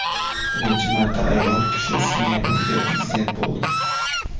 Birinchi marta ayol kishi Singapurga prezident bo‘ldi .